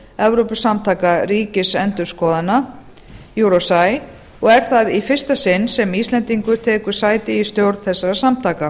evrópusamtaka ríkisendurskoðana eurosai og er það í fyrsta sinn sem íslendingur tekur sæti í stjórn þessara samtaka